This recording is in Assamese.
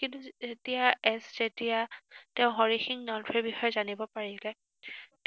কিন্তু যেতিয়া যেতিয়া তেওঁ হৰি সিং নলৱাৰ বিষয়ে জানিব পাৰিলে,